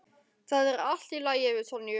Það er allt í lagi með Sonju.